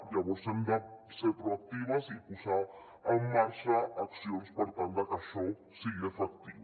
llavors hem de ser proactives i posar en marxa accions per tal de que això sigui efectiu